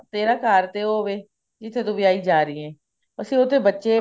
ਤੇਰਾ ਘਰ ਤੇ ਉਹ ਹੋਵੇ ਜਿੱਥੇ ਤੂੰ ਵਿਆਹੀ ਜਾ ਰਹੀ ਹੈ ਅਸੀਂ ਉਹਦੇ ਬੱਚੇ